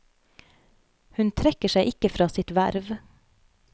Hun trekker seg ikke fra sitt verv.